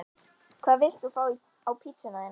Hvað vilt þú fá á pizzuna þína?